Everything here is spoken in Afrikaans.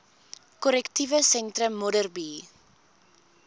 korrektiewe sentrum modderbee